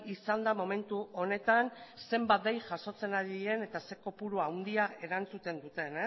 izanda momentu honetan zenbat dei jasotzen ari diren eta zein kopuru handia erantzuten duten